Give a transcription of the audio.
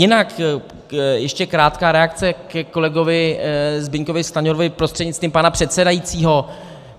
Jinak ještě krátká reakce ke kolegovi Zbyňkovi Stanjurovi prostřednictvím pana předsedajícího.